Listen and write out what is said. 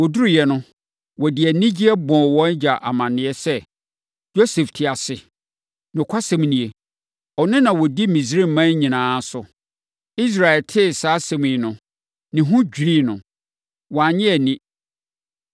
Wɔduruiɛ no, wɔde anigyeɛ bɔɔ wɔn agya amaneɛ sɛ, “Yosef te ase! Nokwasɛm nie, ɔno na ɔdi Misraiman nyinaa so!” Israel tee saa asɛm yi no, ne ho dwirii no. Wannye anni.